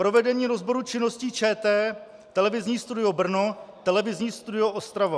Provedení rozboru činností ČT televizní studio Brno, televizní studio Ostrava.